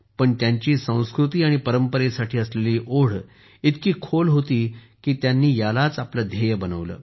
पण त्यांची संस्कृती आणि परंपरेसाठी असलेली ओढ इतकी खोल होती की त्यांनी यालाच आपले ध्येय बनवले